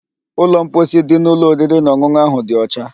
Ụlọ mposi dị n'ụlọ oriri na ọn̄ụn̄ụ ahụ dị ọcha